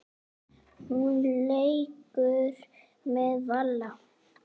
Hún leikur með Val.